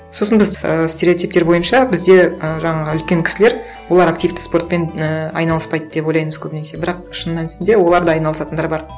сосын біз ііі стереотиптер бойынша бізде ы жаңағы үлкен кісілер олар активті спортпен і айналыспайды деп ойлаймыз көбінесе бірақ шын мәнісінде олар да айналысатындар бар